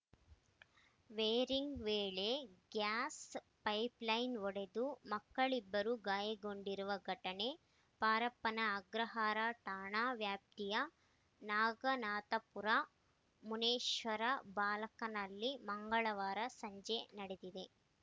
wiring ವೇಳೆ gas pipeline ಒಡೆದು ಮಕ್ಕಳಿಬ್ಬರು ಗಾಯಗೊಂಡಿರುವ ಘಟನೆ ಪರಪ್ಪನ ಅಗ್ರಹಾರ ಠಾಣಾ ವ್ಯಾಪ್ತಿಯ ನಾಗನಾಥಪುರದ ಮುನೇಶ್ವರ ಬ್ಲಾಕ್‌ನಲ್ಲಿ ಮಂಗಳವಾರ ಸಂಜೆ ನಡೆದಿದೆ